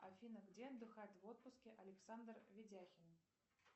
афина где отдыхает в отпуске александр видяхин